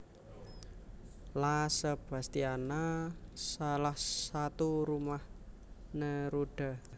La Sebastiana salah satu rumah Neruda